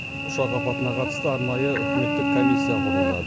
ұшақ апатына қатысты арнайы үкіметтік комиссия құрылды